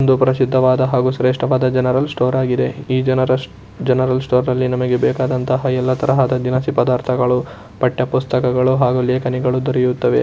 ಒಂದು ಪ್ರಸಿದ್ಧವಾದ ಹಾಗೂ ಶ್ರೇಷ್ಠವಾದ ಜನರಲ್ ಸ್ಟೋರ ಆಗಿದೆ ಜನರ ಜನರಲ್ ಸ್ಟೋರ ಅಲ್ಲಿ ನಮಗೆ ಬೇಕಾದಂತಹ ಎಲ್ಲಾ ದಿನಸಿ ಪರಧರ್ತಗಳು ಹಾಗೂ ಪಠ್ಯಪುಸ್ತಕಗಳು ಹಾಗೂ ಲೇಖನಿಗಳು ದೊರೆಯುತ್ತವೆ.